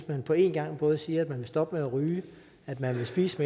man på en gang både siger at man vil stoppe med at ryge at man vil spise